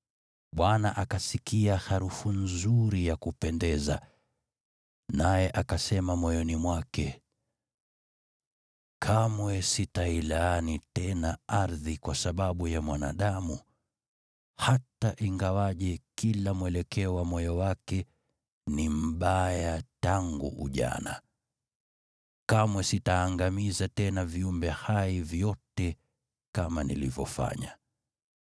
Bwana akasikia harufu nzuri ya kupendeza, naye akasema moyoni mwake, “Kamwe sitailaani tena ardhi kwa sababu ya mwanadamu, hata ingawa kila mwelekeo wa moyo wake ni mbaya tangu ujana. Kamwe sitaangamiza tena viumbe hai vyote kama nilivyofanya.